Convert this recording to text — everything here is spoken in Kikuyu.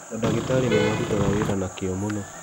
Mandagĩtarĩ nĩmarutaga wĩra na kĩo mũno.